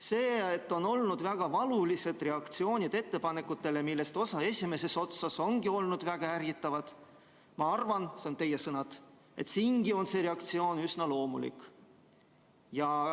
"See, et on olnud väga valulised reaktsioonid ettepanekutele, millest osa esimeses otsas ongi olnud väga ärritavad , ma arvan, on üsna loomulik.